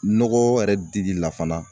Nɔgɔ yɛrɛ dili la fana